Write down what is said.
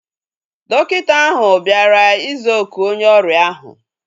Dọkịta ahu bịara ịza oku onye ọrịa ahu